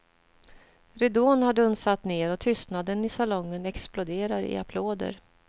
Ridån har dunsat ner, och tystnaden i salongen exploderar i applåder.